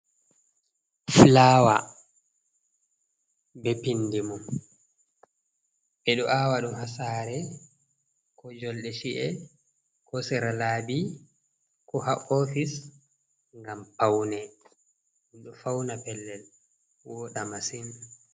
Flawa be pindi mom, be do awa dum hasare, ko jolde shi’e, ko sira labi, ko ha ofis. gam aune do fauna pellel woda masin.